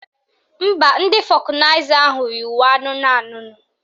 Mba, ndị fọkụnaịza ahụ yi uwe anụnụ anụnụ